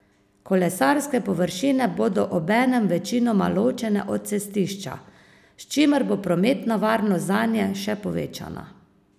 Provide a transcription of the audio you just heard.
Kolesarske površine bodo obenem večinoma ločene od cestišča, s čimer bo prometna varnost zanje še povečana.